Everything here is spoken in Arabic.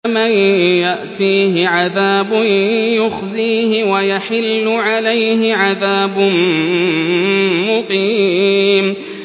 مَن يَأْتِيهِ عَذَابٌ يُخْزِيهِ وَيَحِلُّ عَلَيْهِ عَذَابٌ مُّقِيمٌ